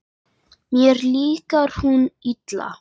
Mér líkar hún illa.